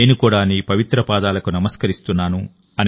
నేను కూడా నీ పవిత్ర పాదాలకు నమస్కరిస్తున్నాను